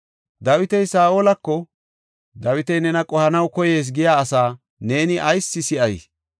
Dawiti Saa7olako, “Dawiti nena qohanaw koyees” giya asaa neeni ayis si7ay?